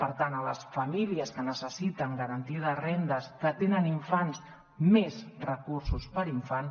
per tant a les famílies que necessiten garantia de rendes que tenen infants més recursos per infant